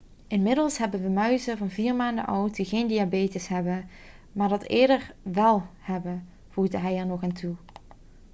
'inmiddels hebben we muizen van 4 maanden oud die geen diabetes hebben maar dat eerder wel hebben,' voegde hij er nog aan toe